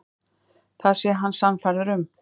Það sé hann sannfærður um.